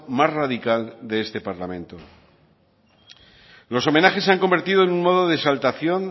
más radical de este parlamento los homenajes se han convertido en un modo de exaltación